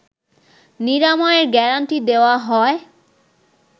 নিরাময়ের গ্যারান্টি দেওয়া হয়